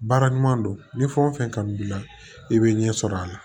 Baara ɲuman don ni fɛn wo fɛn kanu b'i la i bɛ ɲɛ sɔrɔ a la